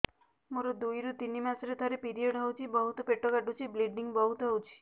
ମୋର ଦୁଇରୁ ତିନି ମାସରେ ଥରେ ପିରିଅଡ଼ ହଉଛି ବହୁତ ପେଟ କାଟୁଛି ବ୍ଲିଡ଼ିଙ୍ଗ ବହୁତ ହଉଛି